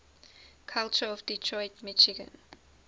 culture of detroit michigan